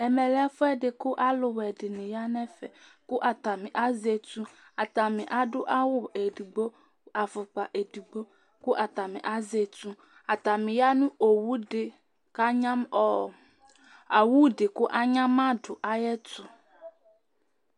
ɛmɛ lɛ ɛfu ɛdi boa kò alo wɛ di ni ya n'ɛfɛ kò atani azɛ etu atani adu awu edigbo afukpa edigbo kò atani azɛ etu atani ya no owu di k'anyama owu di kò anyama do ayi ɛto